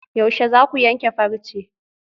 Yaushe zaku yanke farce?